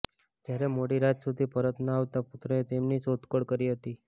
જયારે મોડી રાત સુધી પરત ન આવતા પુત્રએ તેમની શોધખોળ કરી હતી